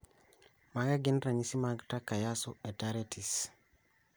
Mage magin ranyisi mag Takayasu arteritis